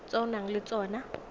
tse o nang le tsona